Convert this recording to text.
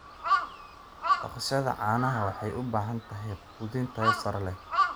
Dhaqashada caanaha waxay u baahan tahay quudin tayo sare leh.